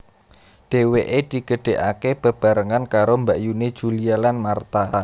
Dhèwèké digedhèkaké bebarengan karo mbakyuné Julia lan Martha